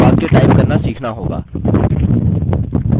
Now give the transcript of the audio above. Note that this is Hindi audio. अब हमें वाक्य टाइप करना सीखना होगा